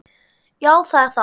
Já, það er það